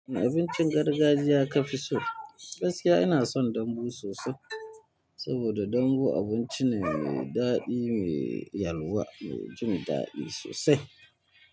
A abincin gargajiya ka fi so, gaskiya ina son dambu sosai. Saboda dambu abinci ne mai daɗi, mai yalwa, mai jin daɗi sosai.